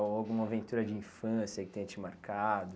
Ou alguma aventura de infância que tenha te marcado?